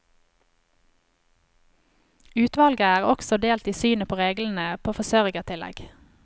Utvalget er også delt i synet på reglene på forsørgertillegg.